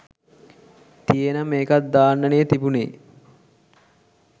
තියේනම් ඒකත් දාන්නනේ තිබුණේ